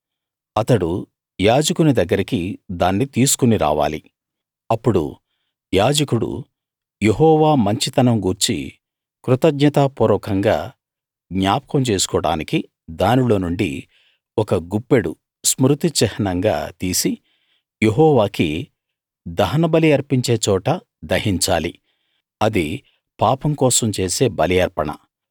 అతడు యాజకుని దగ్గరికి దాన్ని తీసుకురావాలి అప్పుడు యాజకుడు యెహోవా మంచితనం గూర్చి కృతజ్ఞతాపూర్వకంగా జ్ఞాపకం చేసుకోడానికి దానిలో నుండి ఒక గుప్పెడు స్మృతి చిహ్నంగా తీసి యెహోవాకి దహనబలి అర్పించే చోట దహించాలి అది పాపం కోసం చేసే బలి అర్పణ